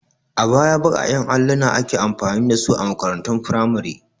A baya baƙaƙen alluna ake amfani da su a makarantun firamare.